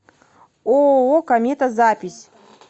ооо комета запись